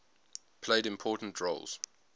played important roles